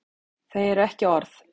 Þau eru ekki orð.